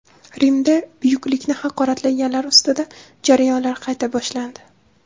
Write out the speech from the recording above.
Rimda buyuklikni haqoratlaganlar ustidan jarayonlar qayta boshlandi.